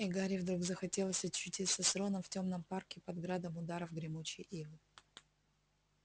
и гарри вдруг захотелось очутиться с роном в тёмном парке под градом ударов гремучей ивы